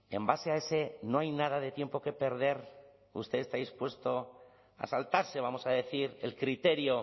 en base a ese no hay nada de tiempo que perder usted está dispuesto a saltarse vamos a decir el criterio